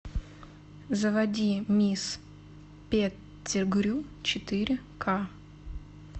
заводи мисс петтигрю четыре ка